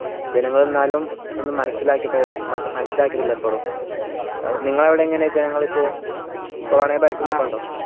ജനങ്ങൾ എന്നാലും ഒന്നു മനസ്സിലാക്കിട്ട മനസിലാകേട്ടില്ല ഇപ്പോളും നിങ്ങളെ അവിടെ എങ്ങനെയൊക്കയാ ജനങ്ങളിപ്പോ corona യെ ഭയക്കുന്നു ണ്ടോ